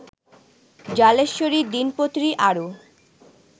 জলেশ্বরীর দিনপত্রী আরও